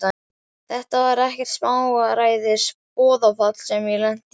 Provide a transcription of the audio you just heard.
Þetta var ekkert smáræðis boðafall sem ég lenti í!